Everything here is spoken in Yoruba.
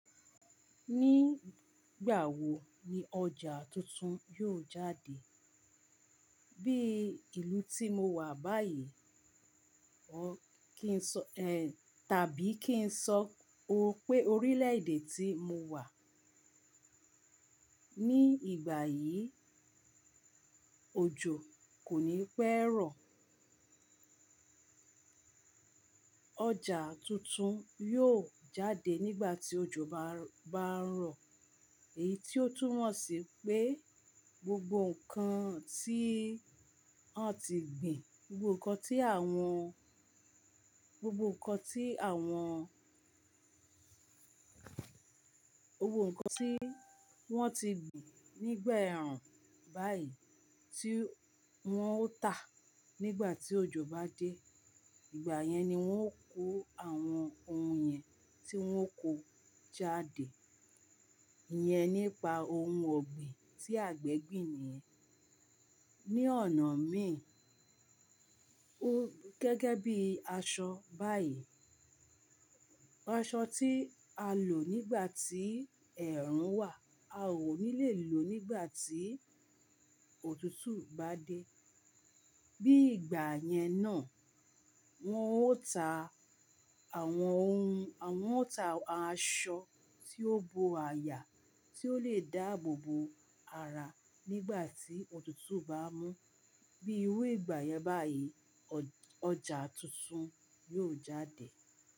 Ní ìgbà wo ni ọjà tuntun yóò jáde? Bí ìlú tí mo wà báyìí, ó kí ń sọ, eh, tàbí kí ń sọ ó pé orílẹ̀ èdè tí mo wà ní ìgbà yìí, òjò kò ní pẹ́ rọ̀ Ọjà tuntun yóò jáde nígbà tí òjò bá, bá ń rọ̀. Èyí tí ó tún mọ̀ sí pé gbogbo nǹkan tí wọ́n ti gbìn, gbogbo nǹkan tí àwọn, gbogbo nǹkan tí àwọn, gbogbo nǹkan tí wọ́n ti gbìn nígbà ẹ̀rùn báyìí tí wọ́n ó tà nígbà tí òjò bá dé. Ìgbà yẹn ni wọ́n ó kó àwọn ohun yẹn tí wọ́n kó jáde. Iyẹn nípa ohun ọ̀gbìn tí àgbẹ̀ gbìn nìyẹn. Ní ọ̀nà míì, ó gẹ́gẹ́ bí aṣọ báyìí. Aṣọ tí a lò nígbà tí ẹ̀rùn wà, a ò ní le lò nígbà tí òtútù bá dé. Bí ìgbà yẹn náà, wọn ó ta àwọn ohun, wọ́n ó ta aṣọ tí ó bo àyà, tí ó le dáàbò bo ara nígbà tí òtútù bá mú. Bí irú ìgbà yẹn báyìí, ọjà tuntun yóò jáde.